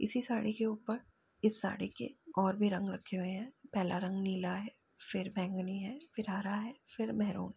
इसी साड़ी के ऊपर इस साड़ी के और भी रंग रखे हुए हैं पहला रंग नीला है फिर बैंगनी है फिर हरा है फिर महरून है।